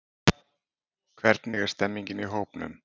Hvernig er stemmingin í hópnum?